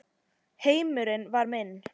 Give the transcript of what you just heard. Heimurinn var minn.